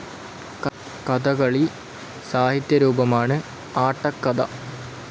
കഥകളി സാഹിത്യ രൂപമാണ് ആട്ടക്കഥ.